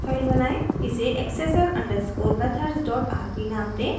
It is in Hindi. इसे accessor_methodsrb नाम दें